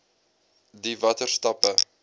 d watter stappe